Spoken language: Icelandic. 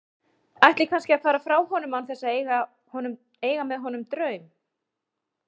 Ætli kannski að fara frá honum án þess að eiga með honum draum.